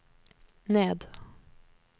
ned